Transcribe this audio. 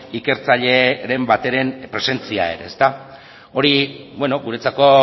ikertzaileren bateren presentzia ere guretzako